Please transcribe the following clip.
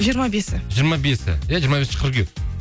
жиырма бесі жиырма бесі иә жиырма бесінші қыркүйек